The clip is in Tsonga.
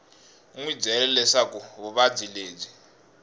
wi byele leswaku vuvabyi lebyi